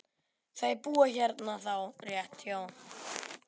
Þau búa hérna rétt hjá.